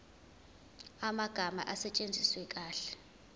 amagama asetshenziswe kahle